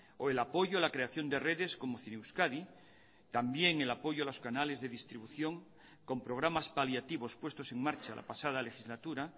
o el apoyo a la creación de redes como zineuskadi también el apoyo a los canales de distribución con programas paliativos puestos en marcha la pasada legislatura